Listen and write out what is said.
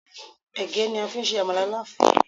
Ẹ̀gẹ́ ni a fi ń se àmàlà Láfún